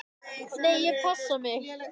"""Nei, ég passa mig."""